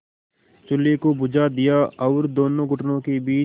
चूल्हे को बुझा दिया और दोनों घुटनों के बीच